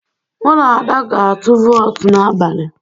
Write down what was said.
Mụ na Ada ga-atụ wọt n'abalị.